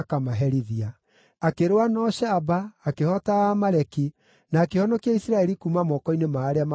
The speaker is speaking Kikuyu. Akĩrũa na ũcamba, akĩhoota Aamaleki, na akĩhonokia Isiraeli kuuma moko-inĩ ma arĩa maamatahĩte indo.